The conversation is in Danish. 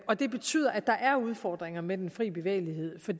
og det betyder at der er udfordringer med den fri bevægelighed for